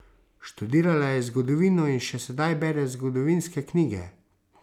Študirala je zgodovino in še sedaj bere zgodovinske knjige.